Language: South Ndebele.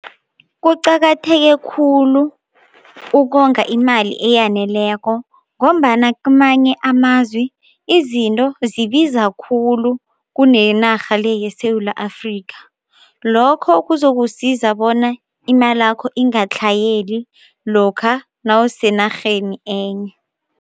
Kuqakatheke khulu ukonga imali eyaneleko ngombana kamanye amazwi izinto zibiza khulu kuneyenarha le yeSewula Afrika, lokho kuzokusiza bona imalakho ingatlhayeli lokha nawusenarheni enye.